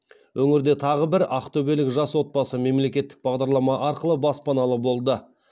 өңірде тағы бір ақтөбелік жас отбасы мемлекеттік бағдарлама арқылы баспаналы болды